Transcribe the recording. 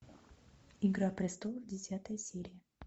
игра престолов десятая серия